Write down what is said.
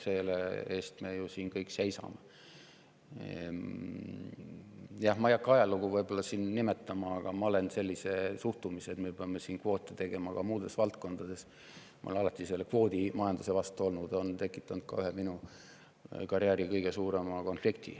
Ma võib-olla ei hakka siin ajalugu, aga ma olen alati olnud sellise suhtumise vastu, et me peame kvoote tegema ka muudes valdkondades, olen olnud kvoodimajanduse vastu, ja see on tekitanud ka minu karjääri ühe kõige suurema konflikti.